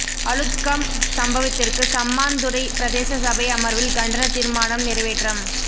அளுத்கம் சம்பவத்திற்கு சம்மாந்துறை பிரதேச சபை அமர்வில் கண்டனத் தீர்மானம் நிறைவேற்றம்